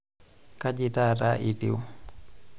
Kaji taata itiu?